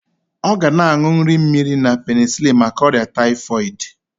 Ọ ga na-aṅụ nri mmiri na penisilin maka ọrịa taịfọịdị